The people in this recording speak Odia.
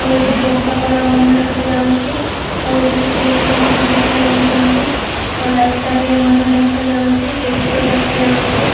ଆଉ ଏଠି କୋକାକଲା ମଧ୍ୟ ଦେଖାଯାଉଛି ଆଉ ଏଠି କିଛି ଲୋକ ମଧ୍ୟ ଦେଖାଯାଉଚନ୍ତି ଆଉ ରାସ୍ତା ଟିଏ ମଧ୍ୟ ଦେଖାଯାଉଛି ପୋଷ୍ଟ ଦେଖାଯାଉଛି।